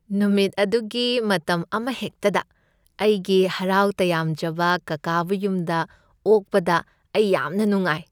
ꯅꯨꯃꯤꯠ ꯑꯗꯨꯒꯤ ꯃꯇꯝ ꯑꯃꯍꯦꯛꯇꯗ ꯑꯩꯒꯤ ꯍꯔꯥꯎ ꯇꯌꯥꯝꯖꯕ ꯀꯥꯀꯥꯕꯨ ꯌꯨꯝꯗ ꯑꯣꯛꯄꯗ ꯑꯩ ꯌꯥꯝꯅ ꯅꯨꯡꯉꯥꯏ꯫